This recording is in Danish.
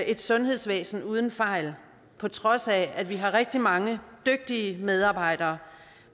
et sundhedsvæsen uden fejl på trods af at vi har rigtig mange dygtige medarbejdere